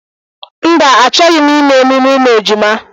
Mba, achọghị m ime emume ụmụ ejima